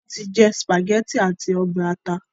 wón ti jé spaghetti ati obe ata